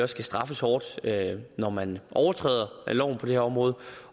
skal straffes hårdt når man overtræder loven på det her område